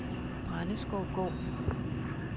Brændeskovgård